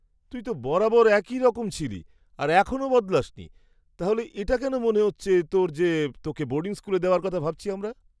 তুই তো বরাবর একই রকম ছিলি আর এখনও বদলাস নি, তাহলে এটা কেন মনে হচ্ছে তোর যে তোকে বোর্ডিং স্কুলে দেওয়ার কথা ভাবছি আমরা!